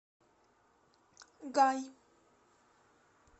гай